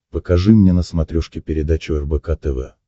покажи мне на смотрешке передачу рбк тв